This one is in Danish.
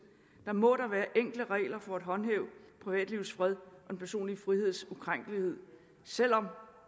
må der være enkle regler for at håndhæve privatlivets fred og den personlige friheds ukrænkelighed selv om